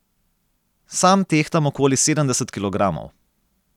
Sam tehtam okoli sedemdeset kilogramov.